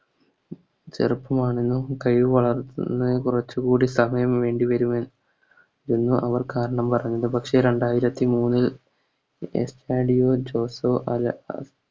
ചെറുപ്പമാണെന്നും കഴിവ് വളർന്ന് കുറച്ചുകൂടി സമയം വേണ്ടിവരുമെന്ന് അവർ കാരണം പറഞ്ഞു പക്ഷേ രണ്ടായിരത്തി മൂന്നിൽ